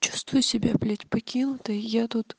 чувствую себя блять покинутой я тут